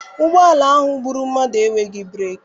Ụgbọala ahụ gbụrụ mmadụ enweghị breeki.